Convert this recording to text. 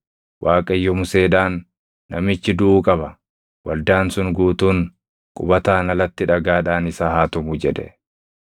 Waaqayyo Museedhaan, “Namichi duʼuu qaba. Waldaan sun guutuun qubataan alatti dhagaadhaan isa haa tumu” jedhe.